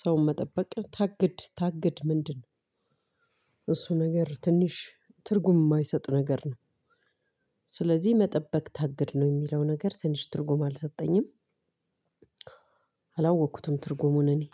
ሰውን መጠበቅ ታግድ ታግድ ምንድነው? እሱ ነገር ትንሽ ትርጉም የማይሰጥ ነገር ነው። ስለዚህ መጠበቅ ታግድ ነው ሚለው ነገር ትንሽ ትርጉም አልሰጠኝም። አቸላወኩትም ትርጉሙን እኜ